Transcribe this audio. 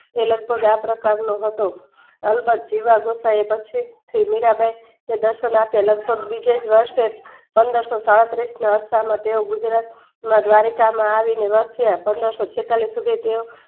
તે લગભ્ગ આ પ્રકારનો હતો જીવા પછી થી મીરાંબાઈ દર્શનાથે લગભગ બીજે વર્ષે પંદરસો સાડત્રીસના અરસામાં ગુજરાતમાં દ્વારકામાં આવી વસ્યા પંદરસો છેતાલીસ તેઓ